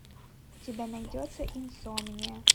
у тебя найдется инсомния